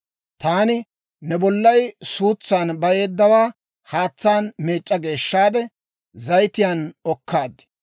«‹ «Taani ne bollay suutsan bayeeddawaa haatsaan meec'c'a geeshshaade, zayitiyaan okkaad.